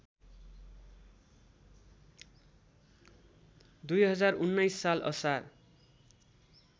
२०१९ साल असार